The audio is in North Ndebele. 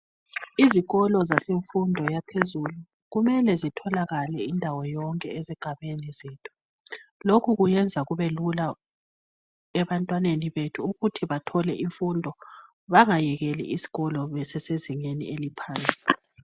Izikolo zasemfundo yaphezulu kumele zitholakale indawo yonke ezigabeni zethu lokhu kuyenza kube lula ebantwaneni bethu ukuthi bathole imfundo bangayekeli isikolo besasezingeni eliphansi.